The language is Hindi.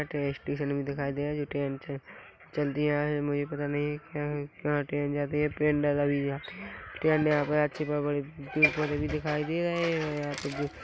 --पे स्टेशन भी दिखाई दे रहा है जो ट्रेन भी चल दिया है मुझे पता नहीं है कहाँ ट्रेन जाती है गाड़ी जाती है यहाँ पर अच्छे बड़े-बड़े पेड़-पौधें भी दिखाई दे रहे हैं यहाँ पे--